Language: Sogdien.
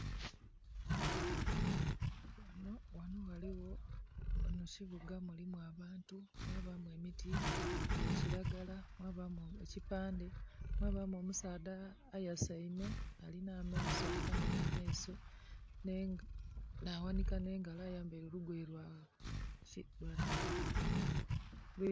Ghano ghaliwo, ghano kibuga mulimu abantu mwabamu emiti gya kiragala, mwabamu ekipande mwabamu omusaadha ayasaime, alina amaiso akanwire amaiso, yawanika ne ngalo, ayambaire olugoye lwa....